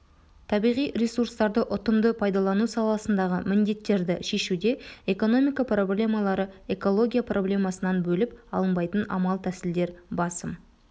табиғи ресурстарды ұтымды пайдалану саласындағы міндеттерді шешуде экономика проблемалары экология проблемасынан бөліп алынбайтын амал-тәсілдер басым